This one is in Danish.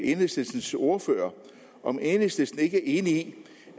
enhedslistens ordfører om enhedslisten ikke er enig i